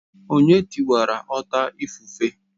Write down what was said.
Onye tiwara ọta ifufe?